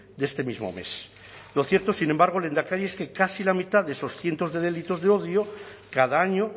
de este mismo mes lo cierto sin embargo lehendakari es que casi la mitad de esos cientos de delitos de odio cada año